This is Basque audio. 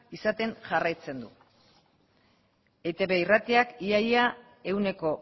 izaten jarraitzen du eitb irratiak ia ia ehuneko